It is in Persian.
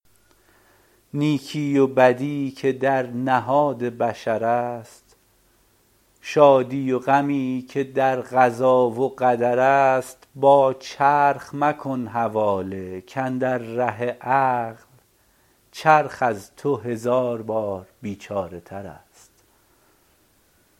نیکی و بدی که در نهاد بشر است شادی و غمی که در قضا و قدر است با چرخ مکن حواله کاندر ره عقل چرخ از تو هزار بار بیچاره تر است